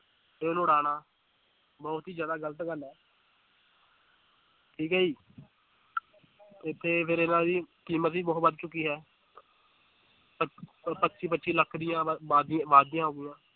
ਫਿਰ ਉਡਾਉਣਾ ਬਹੁਤ ਹੀ ਜ਼ਿਆਦਾ ਗ਼ਲਤ ਗੱਲ ਹੈ ਠੀਕ ਹੈ ਜੀ ਤੇ ਫਿਰ ਇਹਨਾਂ ਦੀ ਕੀਮਤ ਵੀ ਬਹੁਤ ਵੱਧ ਚੁੱਕੀ ਹੈ ਪੱਚ ਪੱਚੀ ਲੱਖ ਦੀਆਂ ਬਾਜੀ ਬਾਜੀਆਂ